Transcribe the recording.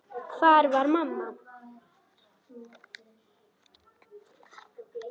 Hvar var mamma?